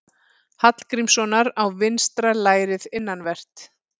Hallgrímssonar á vinstra lærið innanvert.